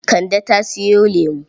Kande ta sayo lamo.